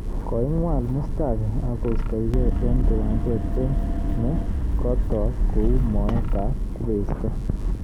Koingwol Mustafi akoistogei eng kiwanjet eng ne kotook kou moet ab kubesto